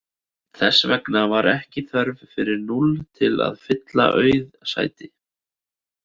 Þess vegna var ekki þörf fyrir núll til að fylla auð sæti.